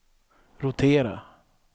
rotera